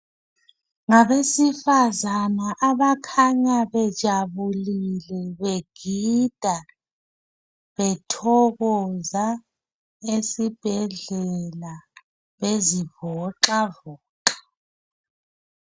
Ngabesifazana abakhanya bejabulile, begida, bethokoza esibhedlela. Bezivoxavoxa.